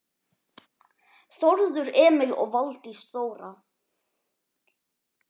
Þórður Emil og Valdís Þóra.